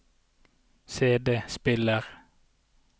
CD-spiller